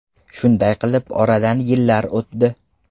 Shunday qilib oradan yillar o‘tdi.